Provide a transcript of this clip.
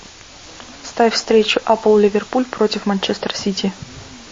ставь встречу апл ливерпуль против манчестер сити